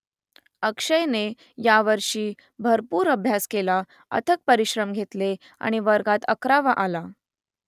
अक्षयने यावर्षी भरपूर अभ्यास केला अथक परिश्रम घेतले आणि वर्गात अकरावा आला